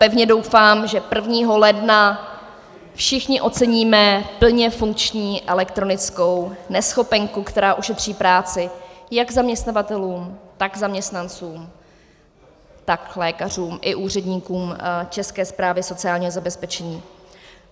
Pevně doufám, že 1. ledna všichni oceníme plně funkční elektronickou neschopenku, která ušetří práci jak zaměstnavatelům, tak zaměstnancům, tak lékařům i úředníkům České správy sociálního zabezpečení.